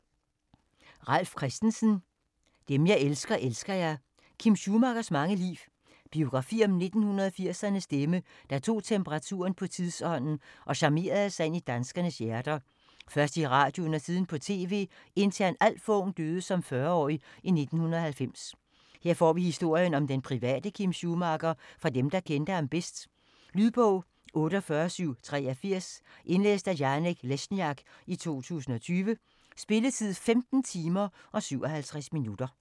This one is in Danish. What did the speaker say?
Christensen, Ralf: Dem jeg elsker, elsker jeg: Kim Schumachers mange liv Biografi om 1980'ernes stemme, der tog temperaturen på tidsånden og charmerede sig ind i danskernes hjerter, først i radioen, siden på TV, indtil han alt for ung, døde som 40-årig i 1990. Her får vi historien om den private Kim Schumacher fra dem, der kendte ham bedst. Lydbog 48783 Indlæst af Janek Lesniak, 2020. Spilletid: 15 timer, 57 minutter.